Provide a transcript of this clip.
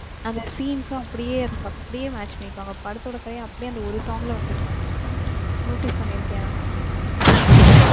அந்த scenes லாம் அப்டியே இருக்கும். அப்டியே match பண்ணிருப்பாங்க படத்தோட கதையே அப்டியே அந்த ஒரு song ல வந்துருக்கும். Notice பண்ணிருக்கியா?